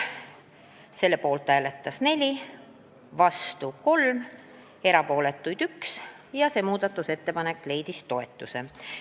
Selle poolt hääletas 4, vastu oli 3, erapooletuid 1 ja ettepanek leidis toetust.